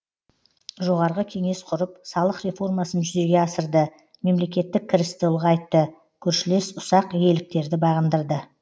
жоғарғы кеңес құрып салық реформасын жүзеге асырды мемлекеттік кірісті ұлғайтты көршілес ұсақ иеліктерді бағындырды